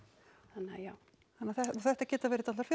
þannig að já þannig að þetta geta verið dálitlar